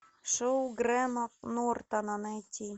шоу грэма нортона найти